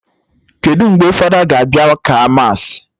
Kedụ mgbe fada ga abịa ka mass?